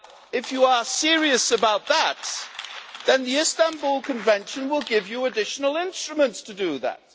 If you are serious about that, then the Istanbul Convention will give you additional instruments to do that.